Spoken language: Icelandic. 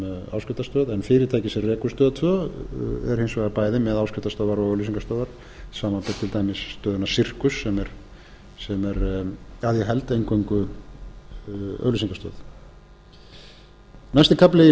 áskriftarstöð en fyrirtækið sem rekur árið tvö er hins vegar bæði með áskriftarstöðvar og auglýsingastöðvar samanber til dæmis stöðin sirkus sem er að ég held eingöngu auglýsingastöð næsti kafli í